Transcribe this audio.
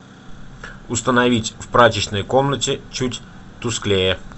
установить в прачечной комнате чуть тусклее